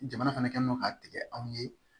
Jamana fana kɛlen don k'a tigɛ anw ye